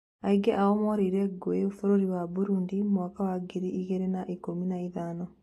Aingĩ ao morĩire ngũĩ bũrũri wa Burundi mwaka wa ngiri igĩrĩ na ikũmi na ithano.